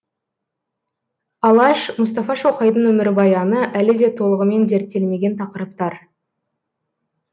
алаш мұстафа шоқайдың өмірбаяны әлі де толығымен зерттелмеген тақырыптар